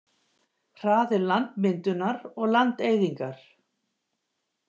Hraði landmyndunar og landeyðingar.